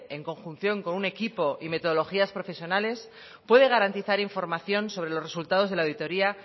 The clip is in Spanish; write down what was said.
en conjunción con un equipo y metodologías profesionales puede garantizar información sobre los resultados de la auditoría